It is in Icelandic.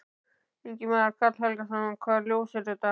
Ingimar Karl Helgason: Hvaða ljós er það?